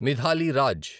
Mithali Raj